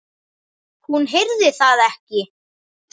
Hún heyrði það ekki.